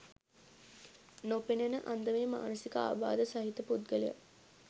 නොපෙනෙන අන්දමේ මානසික ආබාධ සහිත පුද්ගලයන්